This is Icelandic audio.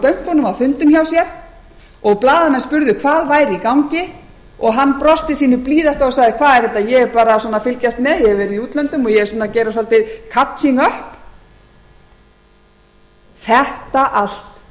bönkunum á fundum hjá sér og blaðamenn spurðu hvað væri í gangi og hann brosti sínu blíðasta og sagði hvað er þetta ég er bara svona að fylgjast með ég hef verið í útlöndum og ég er að gera svolítið kapsinup þetta allt